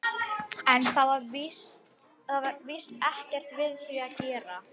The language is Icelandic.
En það var víst ekkert við því að gera.